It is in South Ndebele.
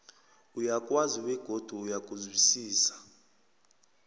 uyakwazi begodu uyakuzwisisa